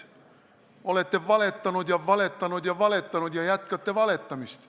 Te olete valetanud, valetanud, valetanud ja jätkate valetamist.